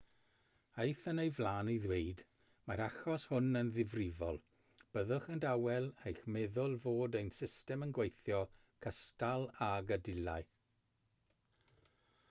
aeth yn ei flaen i ddweud mae'r achos hwn yn ddifrifol byddwch yn dawel eich meddwl fod ein system yn gweithio cystal ag y dylai